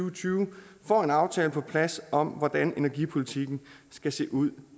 og tyve får en aftale på plads om hvordan energipolitikken skal se ud